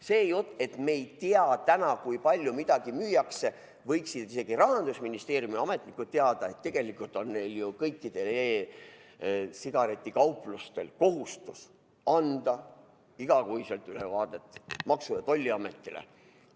See jutt, et me ei tea täna, kui palju midagi müüakse – võiksid isegi Rahandusministeeriumi ametnikud teada, et tegelikult on ju kõikidel e-sigareti kauplustel kohustus anda iga kuu ülevaade Maksu- ja Tolliametile.